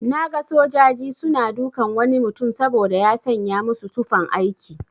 Naga sojaji suna dukan wani mutum saboda ya sanya musu tufan aiki.